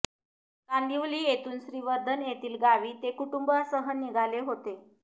कांदिवली येथून श्रीवर्धन येथील गावी ते कुटुंबासह निघाले होते